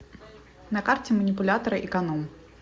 на карте манипуляторы эконом